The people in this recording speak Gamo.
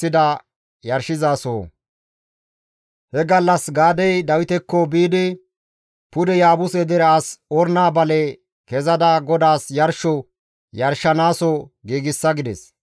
He gallas Gaadey Dawitekko biidi, «Pude Yaabuse dere as Orna bale kezada GODAAS yarsho yarshanaaso giigsa» gides.